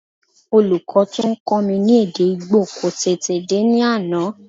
Olùkọ́ tó ń kọ́ mi ní èdè Ìgbò kò tèdè dé ní àná